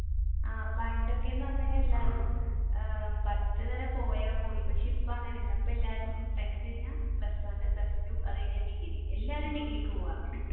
ആഹ് പണ്ടൊക്കെ എന്ന് പറഞ്ഞു കഴിഞ്ഞ എല്ലാവരും അഹ് പത്തു വരെ പോയ പോയി പക്ഷെ ഇപ്പ അങ്ങനെയല്ല എല്ലാവരും tenth കഴിഞ്ഞ plus one, plus two അതുകഴിഞ്ഞ ഡിഗ്രി എല്ലാവരും ഡിഗ്രിക് പോവുക